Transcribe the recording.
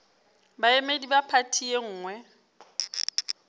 baemedi ba phathi ye nngwe